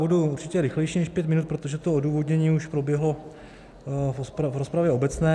Budu určitě rychlejší než pět minut, protože to odůvodnění už proběhlo v rozpravě obecné.